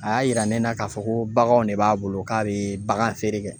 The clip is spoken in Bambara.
A y'a yira ne la k'a fɔ ko baganw de b'a bolo k'a be bagan feere kɛ.